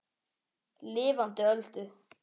Lifandi Öldu.